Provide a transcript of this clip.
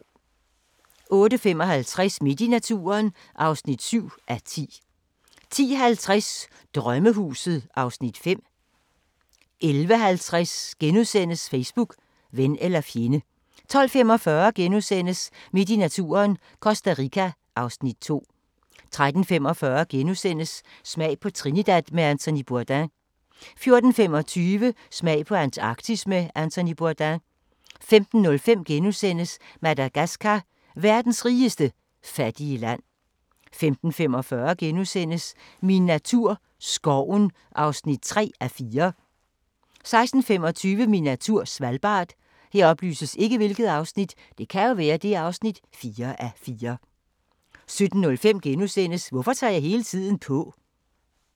08:55: Midt i naturen (7:10) 10:50: Drømmehuset (Afs. 5) 11:50: Facebook – ven eller fjende * 12:45: Midt i naturen - Costa Rica (Afs. 2)* 13:45: Smag på Trinidad med Anthony Bourdain * 14:25: Smag på Antarktis med Anthony Bourdain 15:05: Madagascar – verdens rigeste fattige land * 15:45: Min natur - skoven (3:4)* 16:25: Min natur - Svalbard 17:05: Hvorfor tager jeg hele tiden på? *